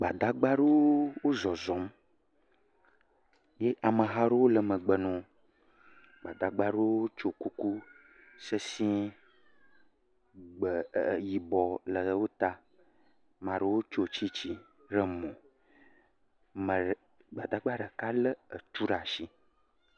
Gbadagba aɖewo wo zɔzɔm. Ye ameha aɖewo le megbe na wo. Gbadagba aɖewo wotsyɔ kuku sesiẽ. Gbɛ ɛɛɛ yibɔ le wo ta. Maa ɖewo tsyɔ tsitsi ɖe mo. Me re. Gbadagba ɖeka lé etu ɖe ashi.